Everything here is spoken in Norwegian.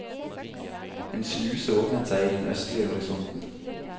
En sluse åpnet seg i den østlige horisonten.